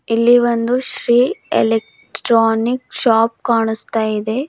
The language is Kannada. ಇಲ್ಲಿ ಒಂದು ಶ್ರೀ ಇಲೆಕ್ಟ್ರಾನಿಕ್ ಶಾಪ್ ಕಾಣಸ್ತಾ ಇದೆ.